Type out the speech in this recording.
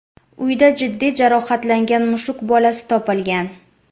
Uyda jiddiy jarohatlangan mushuk bolasi topilgan.